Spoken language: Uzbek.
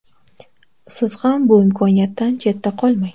Siz ham bu imkoniyatdan chetda qolmang.